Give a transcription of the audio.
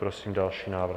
Prosím další návrh.